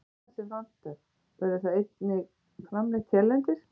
Annað sem vantar, verður það einnig framleitt hérlendis?